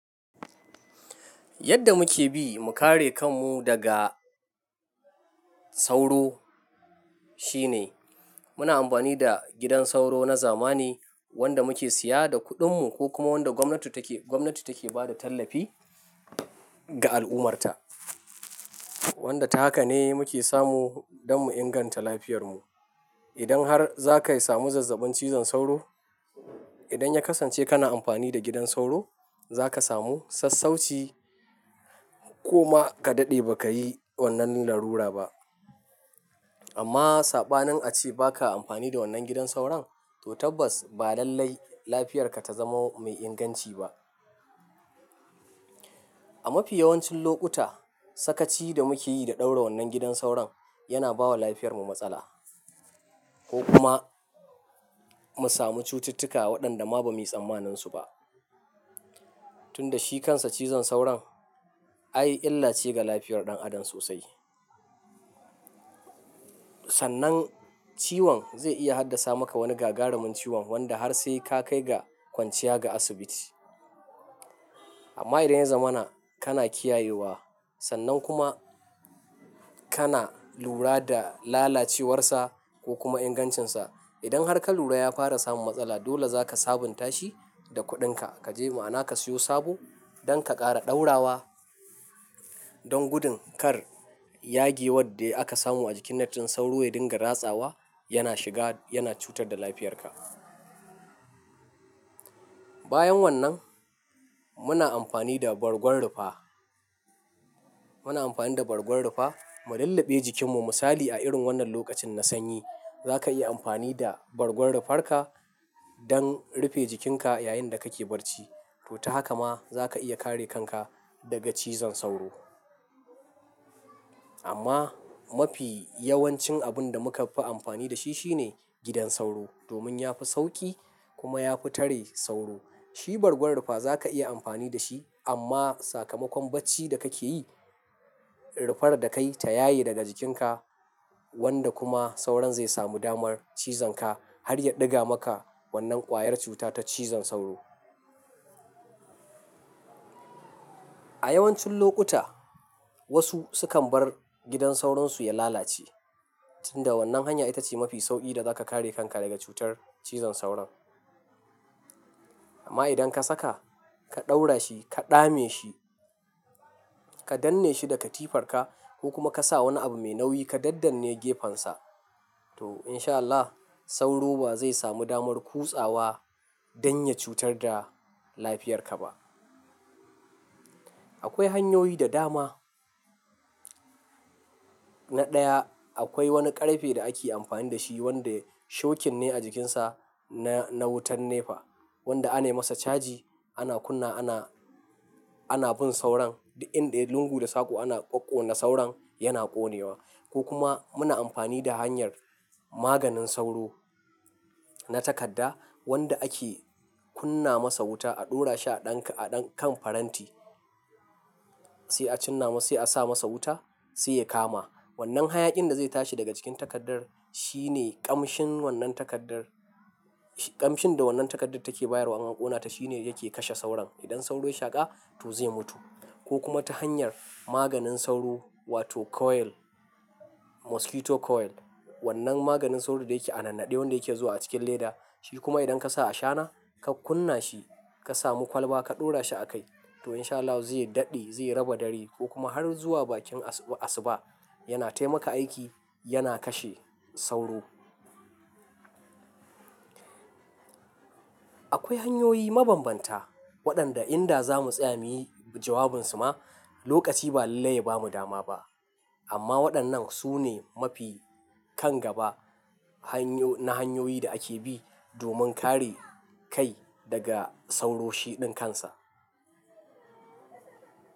Yadda muke bi, mu kare kanmu daga, sauro shine, muna amfani da gidan sauro na zamani, wanda muke siya da kuɗinmu. Ko kuma wanda gwamnati take, gwamnati take bada tallafi, ga al'ummarta. Wanda ta haka ne, muke samu don mu inganta lafiyarmu. Idan har zakayi samu zazzabin cizon sauro, idan ya kasance kana amfani da gidan sauro, zaka samu sassauci ko ma, ka daɗe baka yi, wannan larura ba. Amma!, Saɓanin ace baka amfani da wannan gidan sauron, to tabbas, ba lallai lafiyarka ta zamo mai inganci ba. A mafi yawancin lokuta, sakaci! Da muke yi da ɗaura wannan gidan sauron, yana bawa lafiyarmu matsala, ko kuma. Mu samu cututtuka waɗanda ma bamu yi tsammanin su ba. Tun da shi kansa cizon sauron, ai illace ga lafiyar ɗan adam sosai. Sannan ciwon zai iya haddasa maka wani gagarumin ciwon wanda har sai ka kai ga kwanciya ga asibiti. Amma idan ya zama na, kana kiyayewa, sannan kuma, kana lura da lalacewarsa, ko kuma ingancinsa. Idan har ka lura ya fara samun matsala, dole zaka sabunta shi, da kuɗinka. Ka je ma'ana ka siyo sabo, don ka ƙara ɗaura wa, don gudun kar, yage wadda aka samu a jikin net din sauro ya dinga ratsawa, yana shiga, yana cutar da lafiyarka. Bayan wannan, muna amfani da bargon rufa. Muna amfani da bargon rufa, mu lullube jikinmu. Musali a irin wannan lokacin na sanyi, zaka yi amfani da, bargon rufarka, don rufe jikinka yayinda kake barci. To ta haka ma, zaka iya kare kanka, daga cizon sauro. Amma mafi yawancin abun da muka fi amfani da shi shine gidan sauro. Domin yafi sauƙi, kuma yafi tare sauro. Shi bargon rufa, zaka iya amfani da shi, amma sakamakon bacci da kake yi, rufar da kayi ta yaye daga jikinka, wanda kuma sauron zai samu damar, cizonka, har ya ɗiga maka, wannan ƙwayar cuta ta cizon sauro. A yawancin lokuta, wasu sukan bar gidan sauronsu ya lalace. Tun da wannan hanya ita ce mafi sauƙi da zaka kare kanka daga cutar, cizon sauron. Amma idan ka saka, ka ɗaura shi, ka dame shi, ka danne shi da katifarka ko kuma ka sa wani abu mai nauyi ka daddanne gefensa, to insha Allah, sauro ba zai samu damar kutsawa, don ya cutar da lafiyarka ba. Akwai hanyoyi da dama. Na ɗaya, akwai wani ƙarfe da ake amfani da shi wanda, shokin ne a jikinsa, na, na wutan nefa wanda anai masa caji. Ana kunna, ana, ana bin sauron. Inday lungu da saƙo ana ƙwaƙona sauron, yana ƙonewa ko kuma muna amfani da hanyar maganin sauro, na takadda, wanda ake, kunna masa wuta, a ɗora shi a ɗan, a ɗan kan faranti, sai a cinna ma, sai a sa masa wuta sai ya kama. Wannan hayaƙin da zai tashi daga cikin takaddar, shine, ƙamshin wannan takaddar, ƙamshin da wannan takaddar take bayarwa ma ƙonata shine yake kashe sauron. Idan sauro ya shaƙa, to zai mutu. Ko kuma ta hanyar maganin sauro, wato coil, mosquito coil. Wannan maganin sauro da yake a nan naɗe, wanda yake zuwa a cikin leda. Shi kuma idan ka sa a shana, ka kunna shi, ka samu kwalba ka ɗora shi a kai to insha Allahu zai daɗe, zai raba dari, ko kuma har zuwa bakin asu-asuba yana taimaka aiki, yana kashe sauro. Akwai hanyoyi mabanbanta, waɗanda inda zamu tsaya muyi jawabansu ma, lokaci ba lallai ya bamu dama ba. Amma waɗannan, su ne, mafi kan gaba, hanyau-- na hanyoyi da ake bi domin kare ka, i daga sauro shi ɗinkansa.